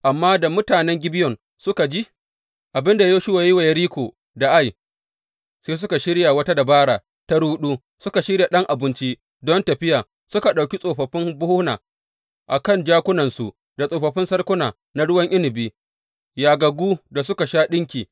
Amma da mutanen Gibeyon suka ji abin da Yoshuwa ya yi wa Yeriko da Ai, sai suka shirya wata dabara ta ruɗu, suka shirya ɗan abinci don tafiya, suka ɗauki tsofaffin buhuna a kan jakunansu da tsofaffin salkuna na ruwan inabi, yagaggu da suka sha ɗinki.